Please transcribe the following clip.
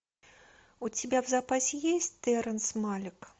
у тебя в запасе есть терренс малик